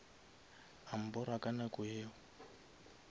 a mbora ka nako yeo